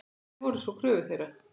Hverjar voru svo kröfur þeirra?